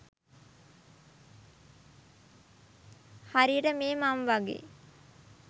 හරියට මේ මං වගේ